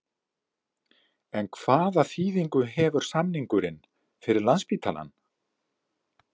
En hvaða þýðingu hefur samningurinn fyrir Landspítalann?